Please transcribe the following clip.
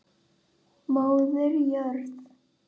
Móðir jörð.